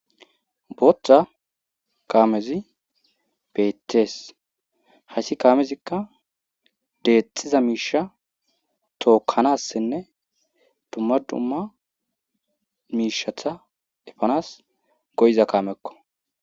Booththa kaamezi beettees hayssi kaamezikka deexxiza miishsha tookkanassinne dumma dumma miishatta efanas goyiza kaamekko